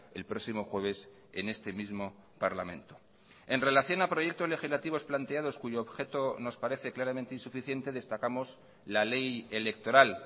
el próximo jueves en este mismo parlamento en relación a proyectos legislativos planteados cuyo objeto nos parece claramente insuficiente destacamos la ley electoral